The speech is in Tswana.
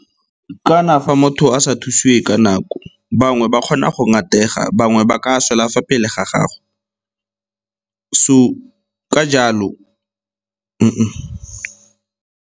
Kana fa motho a sa thusiwe ka nako, bangwe ba kgona go ngatega, bangwe ba ka swela fa pele ga gago. So, ka jalo .